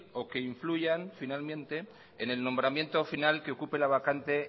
o que influyan finalmente en el nombramiento final que ocupe la vacante